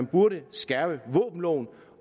burde skærpe våbenloven